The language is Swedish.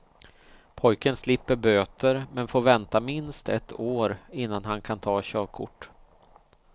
Pojken slipper böter, men får vänta minst ett år innan han kan ta körkort.